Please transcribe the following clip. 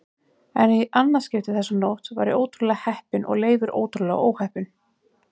En í annað skipti þessa nótt var ég ótrúlega heppinn og Leifur ótrúlega óheppinn.